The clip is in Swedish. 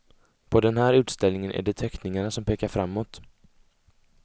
På den här utställningen är det teckningarna som pekar framåt.